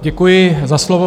Děkuji za slovo.